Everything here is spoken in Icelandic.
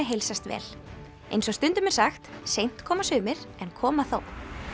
heilsast vel eins og stundum er sagt seint koma sumir en koma þó